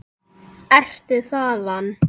Ertu þaðan?